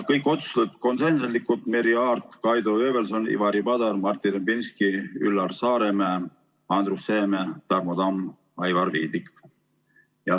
Kõik otsused olid konsensuslikud: Merry Aart, Kaido Höövelson, Ivari Padar, Martin Repinski, Üllar Saaremäe, Andrus Seeme, Tarmo Tamm, Aivar Viidik.